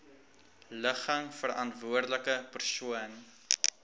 ligging verantwoordelike persoon